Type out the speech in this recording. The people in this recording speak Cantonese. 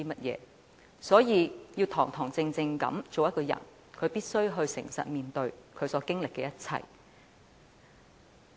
因此，要堂堂正正做一個人，便必須誠實面對他所經歷的一切。